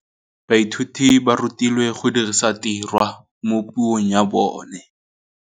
Baithuti ba rutilwe go dirisa tirwa mo puong ya bone.